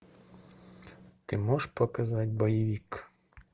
ты можешь показать боевик